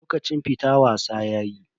Lokacin fita wasa yayi.